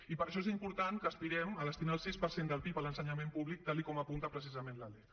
i per això és important que aspirem a destinar el sis per cent del pib a l’ensenyament públic tal com apunta precisament la lec